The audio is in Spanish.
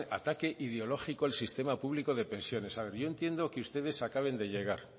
hernández ataque ideológico el sistema público de pensiones yo entiendo que ustedes acaben de llegar